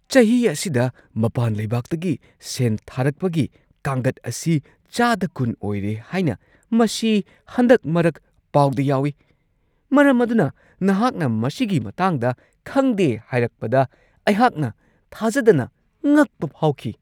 ꯆꯍꯤ ꯑꯁꯤꯗ ꯃꯄꯥꯟ ꯂꯩꯕꯥꯛꯇꯒꯤ ꯁꯦꯟ ꯊꯥꯔꯛꯄꯒꯤ ꯀꯥꯡꯒꯠ ꯑꯁꯤ ꯆꯥꯗ ꯲꯰ ꯑꯣꯏꯔꯦ ꯍꯥꯏꯅ ꯃꯁꯤ ꯍꯟꯗꯛ-ꯃꯔꯛ ꯄꯥꯎꯗ ꯌꯥꯎꯋꯤ, ꯃꯔꯝ ꯑꯗꯨꯅ ꯅꯍꯥꯛꯅ ꯃꯁꯤꯒꯤ ꯃꯇꯥꯡꯗ ꯈꯪꯗꯦ ꯍꯥꯏꯔꯛꯄꯗ ꯑꯩꯍꯥꯛꯅ ꯊꯥꯖꯗꯅ ꯉꯛꯄ ꯐꯥꯎꯈꯤ ꯫ (ꯁꯦꯟꯕꯥꯔꯣꯏ)